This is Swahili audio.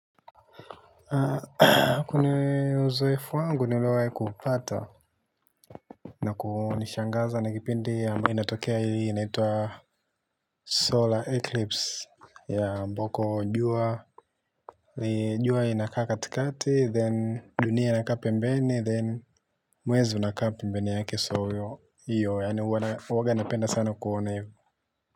Kuna uzoefu wangu niliowahi kuupata na kunishangaza na kipindi ambayo inatokea hii inaitwa solar eclipse ambako jua jua inakaa katikati then dunia inakaa pembeni then mwezi unakaa pembeni yake so hiyo yaani huwaga napenda sana kuona hivo.